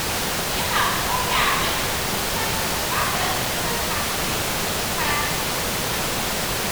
Addini yana koya mana muhimmancin bayar da sadaka cikin hikima da kuma lura